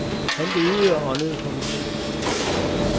Han levede og åndede for musikken.